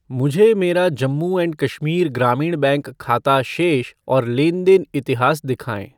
मुझे मेरा Jammu and Kashmir Grameen bank खाता शेष और लेन देन इतिहास दिखाएँ।